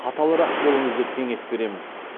қаталырақ болыңыз деп кеңес беремін